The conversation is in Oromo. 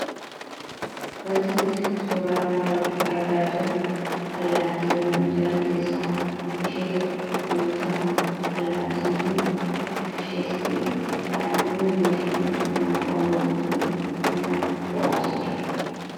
Wanti nuti suuraa kanarratti argaa jirru allaattiiwwan jiran keessaa ishee tokko yommuu taatu, allaattiin kun bifishees ta'ee haalli hundumashee kan nama hawwatuu fi kan nama bohaarsudha.